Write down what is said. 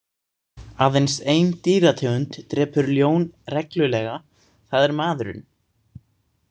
Aðeins ein dýrategund drepur ljón reglulega, það er maðurinn.